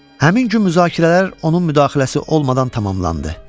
Həmin gün müzakirələr onun müdaxiləsi olmadan tamamlandı.